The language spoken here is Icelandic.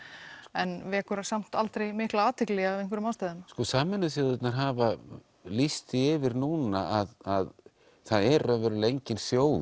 en vekur samt aldrei mikla athygli af einhverjum ástæðum sko sameinuðu þjóðirnar hafa lýst því yfir núna að að er engin þjóð